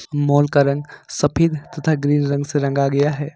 Mall का रंग सफेद तथा ग्रीन रंग से रंगा गया है।